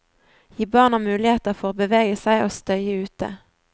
Gi barna muligheter for å bevege seg og støye ute.